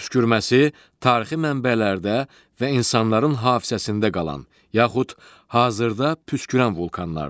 Püskürməsi tarixi mənbələrdə və insanların hafizəsində qalan, yaxud hazırda püskürən vulkanlardır.